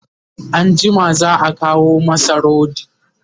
anjima za'a kawo masa rodi